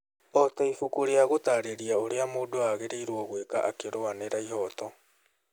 O ta ibuku rĩa gũtaarĩria ũrĩa mũndũ agĩrĩirwo gwĩka akĩrũanĩra ĩhooto.